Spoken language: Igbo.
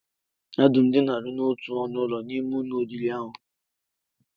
Ee, ha dum dinara n'otu ọnụụlọ n'ime ụlọ oriri ahụ